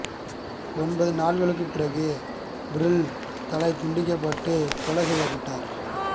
ஒன்பது நாட்களுக்குப் பிறகு பெர்ல் தலை துண்டிக்கப்பட்டு கொலை செய்யப்பட்டார்